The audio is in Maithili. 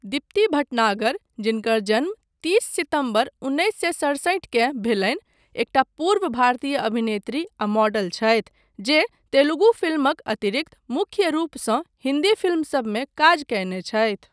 दीप्ति भटनागर जिनकर जन्म तीस सितम्बर उन्नैस सए सड़सठि केँ भेलनि, एकटा पूर्व भारतीय अभिनेत्री आ मॉडल छथि, जे तेलुगु फिल्मक अतिरिक्त मुख्य रूपसँ हिन्दी फिल्मसबमे काज कयने छथि।